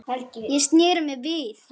Ég sneri mér við.